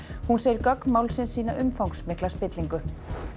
hún segir gögn málsins sýna umfangsmikla spillingu